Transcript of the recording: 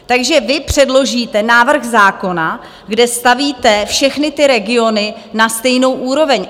Takže vy předložíte návrh zákona, kde stavíte všechny ty regiony na stejnou úroveň.